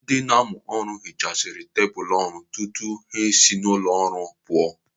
Ndị na-amụ ọrụ hichaara tebụl ọrụ tutu ha esi n'ụlọ ọrụ pụọ.